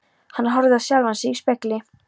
Hann horfði á sjálfan sig í spegli.